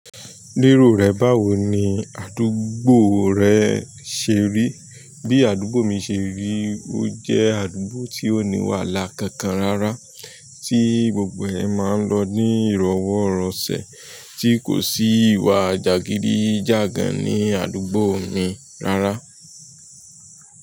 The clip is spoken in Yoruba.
Lérò rẹ, báwo ni àdúgbò rẹ ṣe rí? Bí àdúgbò mi ṣe rí, ó jẹ́ àdúgbò tí ò ní wàhálà kankan rárá, tí gbogbo ẹ máa ń lọ ní ìrọwọ́-rọṣẹ̀, tí kò sí ìwà jàgídí-jàgan ní àdúgbò mi rárá.